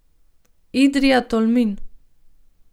Idrija, Tolmin.